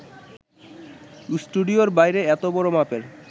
স্টুডিওর বাইরে এত বড় মাপের